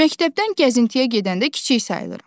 Məktəbdən gəzintiyə gedəndə kiçik sayıram.